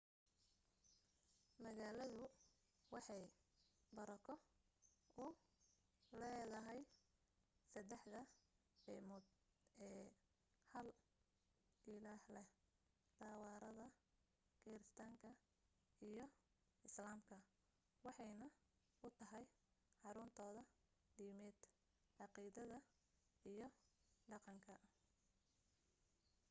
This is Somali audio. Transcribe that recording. magalaadu waxay barako u leedahay saddexda diimood ee hal ilaah leh tawaraadda kiristaanka iyo islaamka waxaanay u tahay xaruntooda diimeed caaqiideed iyo dhaqan